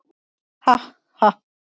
Ha- ha.